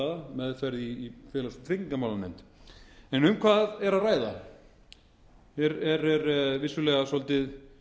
meðferð í félags og tryggingamálanefnd um hvað er að ræða hér er vissulega svolítið